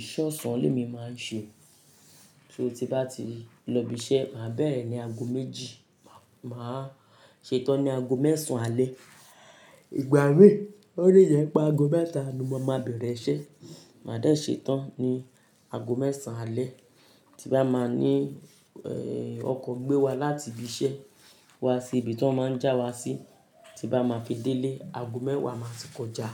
Iṣẹ́ ọ̀sán ni èmi máa ń ṣe. So tí bá ti lọ ibi iṣẹ́, màá bẹ̀rẹ̀ ní ago méjì, màá ṣe tán ní ago mẹ́sàn án alẹ́. Ìgbà mí, ó le jẹ́ pé ago mẹ́ta ni mo máa bẹ̀rẹ̀ iṣẹ́, màá dá ṣe tán ní ago mẹ́sàn alẹ́. Ti bá máa ní, eh, ọkọ̀ gbé wa láti ibi iṣẹ́ wá sí ibi tí wọ́n máa ń já wa sí, tí bá máa fi délé, ago mẹ́wàá máa ti kọjá.